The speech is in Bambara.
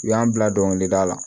U y'an bila dɔnkilida la